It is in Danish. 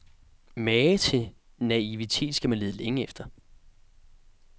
Mage til naivitet skal man lede længe efter.